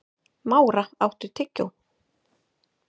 Mára, áttu tyggjó?